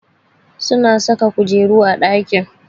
Suna saka kujeru a ɗaki